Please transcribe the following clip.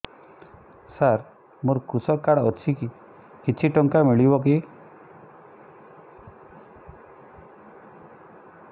ସାର ମୋର୍ କୃଷକ କାର୍ଡ ଅଛି କିଛି ଟଙ୍କା ମିଳିବ କି